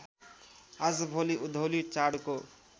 आजभोलि उधौली चाडको